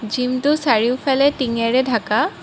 জিমটো চাৰিওফালে টিঙেৰে ঢাকা।